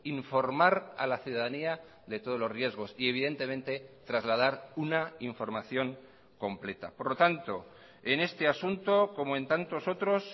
informar a la ciudadanía de todos los riesgos y evidentemente trasladar una información completa por lo tanto en este asunto como en tantos otros